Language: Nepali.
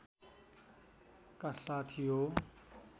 का साथ यो